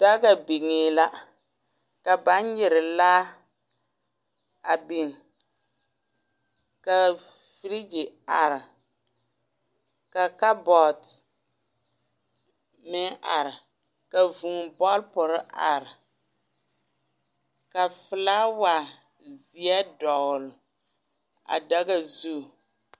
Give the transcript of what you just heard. Daga biŋe la ka baŋ nyere laa a biŋ ka feregi are ka kabɔɔte meŋ are ka vūū bɔlperee are ka felawa zeɛ dogle a daga zu.